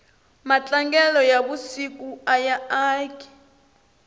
matlangelo ya na vusiku aya aki